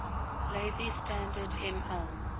lazy standard ml